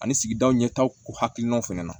Ani sigidaw ɲɛtaw k'u hakilinaw fɛnɛ na